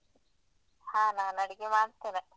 ಹಾ ನಾನ್ ಅಡಿಗೆ ಮಾಡ್ತೇನೆ.